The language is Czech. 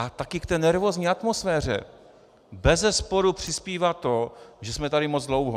A také k té nervózní atmosféře bezesporu přispívá to, že jsme tady moc dlouho.